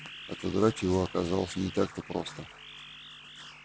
отодрать его оказалось не так-то просто